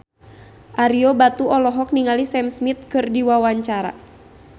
Ario Batu olohok ningali Sam Smith keur diwawancara